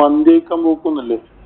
മന്തിയൊക്കെ ഒന്നും ഇല്ലേ.